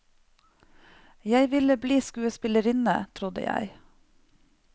Jeg ville bli skuespillerinne, trodde jeg.